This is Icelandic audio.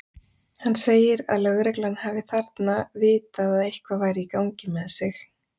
Hann segir að lögreglan hafi þarna vitað að eitthvað væri í gangi með sig.